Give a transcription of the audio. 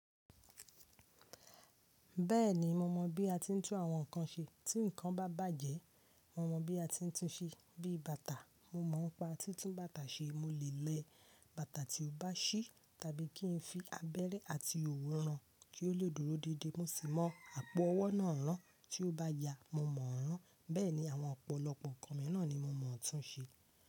Bẹ́ẹ̀ni mo mọ̀ bí a ti ń tún àwọn nnkan ṣe. Tí nnkan bá bàjé mo mọ̀ bí a ti ń tún un ṣe. Bí i bàtà, mo mọ̀ n pa ti tún bàtà ṣe. Mo lè lẹ bàtà tí ó bá ṣí tàbí kí n fi abẹ́rẹ́ àti òwú ran kí ó lè dúró déédé. Mo sì mọ̀ àpò owó náà rán tí ó bá ya. Mo mọ̀ rán. Bẹ́ẹ̀ni àwọn ọ̀pọ̀lọpọ̀ nnkan mìíràn ni mo mọ̀ tún ṣe.